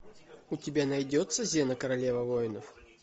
у тебя найдется зена королева воинов